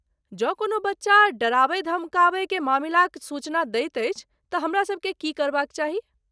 जँ कोनो बच्चा डराबय धमकाबय के मामिलाक सूचना दैत अछि तँ हमरासबकेँ की करबाक चाही?